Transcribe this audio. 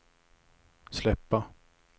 släppa